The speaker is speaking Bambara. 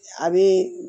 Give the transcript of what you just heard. A bɛ